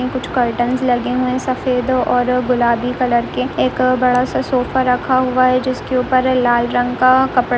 कुछ कर्टेन लगे हुए हैं सफेद और गुलाबी कलर के एक बड़ा सा सोफा रखा हुआ है जिसके ऊपर है लाल रंग का कपड़ा --